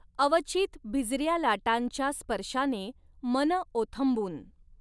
अवचीत भिजऱ्या लाटांच्या स्पर्शाने मन ओथंबुन